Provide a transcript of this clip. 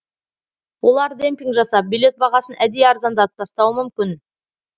олар демпинг жасап билет бағасын әдейі арзандатып тастауы мүмкін